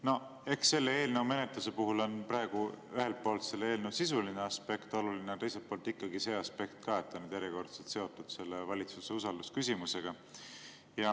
Noh, eks selle eelnõu menetluse puhul on praegu ühelt poolt selle sisuline aspekt oluline, aga teiselt poolt ikkagi see aspekt ka, et see on järjekordselt seotud valitsuse usalduse küsimusega.